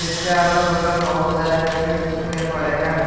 इसके अगल बगल बहुत सारे जमीन सूखे पड़े हैं।